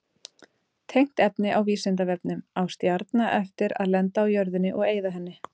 Tengt efni á Vísindavefnum: Á stjarna eftir að lenda á jörðinni og eyða henni?